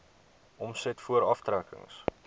omset voor aftrekkings